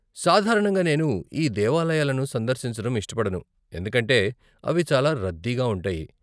సాధారణంగా నేను ఈ దేవాలయాలను సందర్శించడం ఇష్టపడను ఎందుకంటే అవి చాలా రద్దీగా ఉంటాయి.